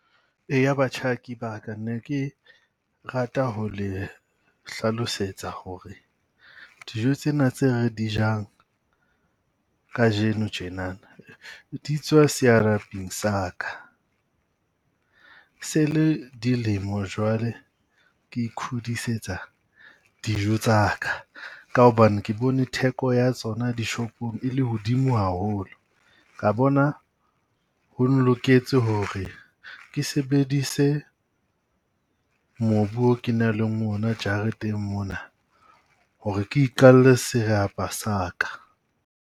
Eya batjha ne ke rata ho le hlalosetsa ho re dijo tsena tse re di jang kajeno tjenana di tswa sa ka. E se le dilemo jwale ke ikhudisetsa dijo tsa ka, ka hobane ke bone theko ya tsona dishopong e le hodimo haholo. Ka bona ho loketse ho re ke sebedise mobu o ke nang le ona jareteng mona ho re ke iqalle serapa sa ka.